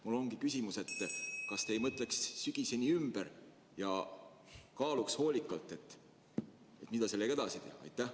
Mul on selline küsimus: kas te ei mõtleks sügiseni järele ja kaaluks hoolikalt, mida sellega edasi teha?